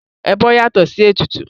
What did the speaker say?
Ẹbọ yàtọ̀ sí ètùtù.